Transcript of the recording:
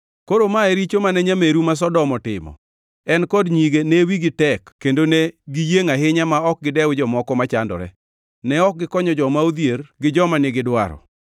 “ ‘Koro ma e richo mane nyameru ma Sodom otimo. En kod nyige ne wigi tek kendo ne giyiengʼ ahinya ma ok gidew jomoko machandore. Ne ok gikonyo joma odhier gi joma ni gidwaro.